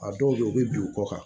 A dɔw bɛ yen u bɛ bin u kɔ kan